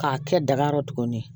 K'a kɛ daga yɔrɔ tuguni